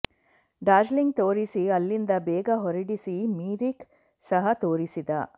ದಾರ್ಜಿಲಿಂಗ್ ತೋರಿಸಿ ಅಲ್ಲಿಂದ ಬೇಗ ಹೊರಡಿಸಿ ಮಿರಿಕ್ ಸಹ ತೋರಿಸಿದ